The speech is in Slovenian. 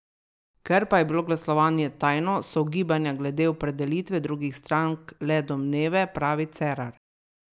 Ker pa je bilo glasovanje tajno, so ugibanja glede opredelitve drugih strank le domneve, pravi Cerar.